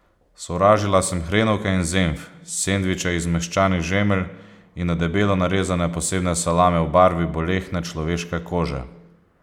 Sovražila sem hrenovke in zenf, sendviče iz zmehčanih žemelj in na debelo narezane posebne salame v barvi bolehne človeške kože.